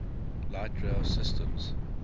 light rail systems